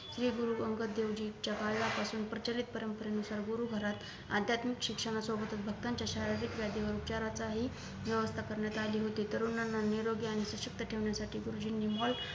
श्री गुरु अंगद देव जी यांच्या काळापासून प्रचलित परंपरेनुसार गुरुघरात आध्यात्मिक शिक्षणासोबत भक्तांच्या शारीरिक व वेदिक उपचाराची हि व्यवस्था करण्यात आली होती तरुणांना निरोगी आणि सशक्त ठेवण्यासाठी गुरुजींनी हॉलत